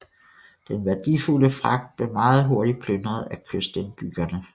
Den værdifulde fragt blev meget hurtig plyndret af kystindbyggerne